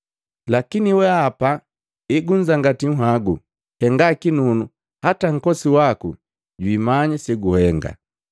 Lakini wehapa egunzangati nhagu, henga kinunu hata nkosi waku jwimanya seguhenga.